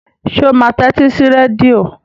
Ṣé ó máa tẹ́tí sí rédíò?